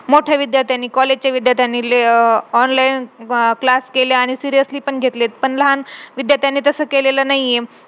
त्याला घरात घेतलं नाही त्याच्या पप्पानी तो आजी-पाशी राहायला लागला त्यांच्या.